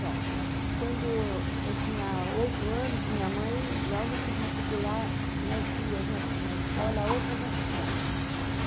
Bom, quando eu tinha oito anos, minha mãe logo quis matricular nós duas na na escola, a outra já estudava.